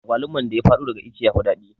Agwaluman da ya fado daga ice yafi daɗi